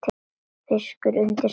Fiskur undir steini.